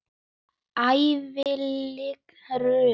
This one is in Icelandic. Hvílíkt rugl!